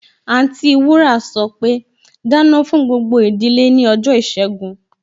Anti wúrà sọpe, Dáná gbogbo ìdílé ní ọjọ́ ìṣẹ́gun!